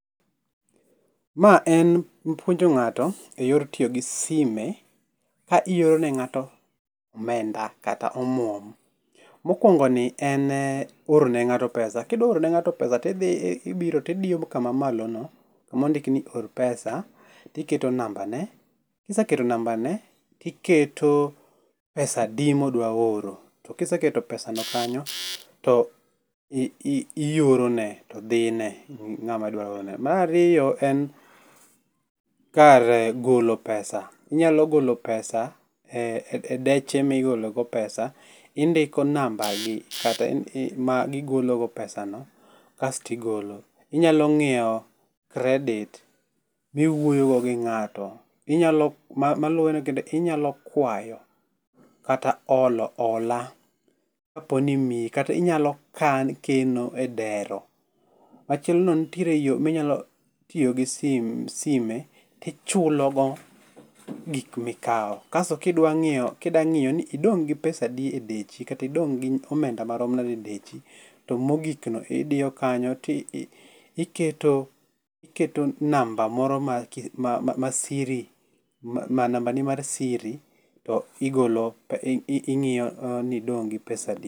Ma en puonjo ng'ato e yor tiyo gi sime ka ioro ne ng'ato omenda kata omwom. Mokwono ni en oro ne ng'ato pesa, kidwa orone ng'ato pesa tidhi ibiro tidio kama malo no kama ondik ni or pesa tiketo namba ne kiseketo namba ne tiketo pesa adi modwaoro oro to kiseketo pesa no kanyo to i i ioro ne to dhi ne ng'ama idwa orone. Mar ariyo, en kar golo pesa inyalo golo pesa e e deche migolo go pesa indiko namba magigolo go pesa no kastigolo. Inyalo ng'iewo credit miwuoyo go gi ng'ato inyalo maluwe no kendo inyalo kwayo kata olo ola kaponi imii kata inyalo kan, keno e dero. Machielo no ntiere yoo minyalo tiyo gi sim sime tichulogo gik mikao. Kas kidwa ng'ieyo ng'iyo ni idong' gi pesa adi e dechi kata idong' gi omenda marom nade e dechi, to mogik ni idiyo kanyo ti i iketo, iketo namba moro ma ,ma ,ma siri ma namba ni mar siri to igolo ing'ioy ni idong' gi pesa adi.